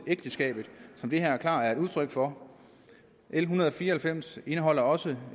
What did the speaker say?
ægteskabet som det her klart er udtryk for l en hundrede og fire og halvfems indeholder også